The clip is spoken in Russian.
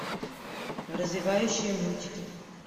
развивающие мультики